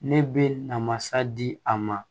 Ne bɛ na masa di a ma